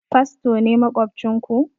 Fasto ne maƙwabcin ku?